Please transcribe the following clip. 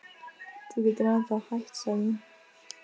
Þú getur ennþá hætt sagði hún.